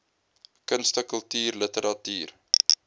kunste kultuur literatuur